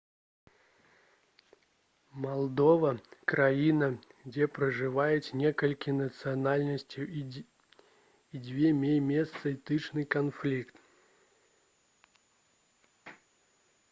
малдова краіна дзе пражываюць некалькі нацыянальнасцяў і дзе меў месца этнічны канфлікт